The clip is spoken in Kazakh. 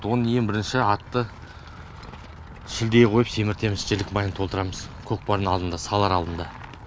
оны ең бірінші атты шілдеге қойып семіртеміз жілік майын толтырамыз көкпардың алдында салар алдында